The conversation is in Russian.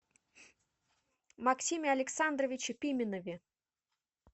максиме александровиче пименове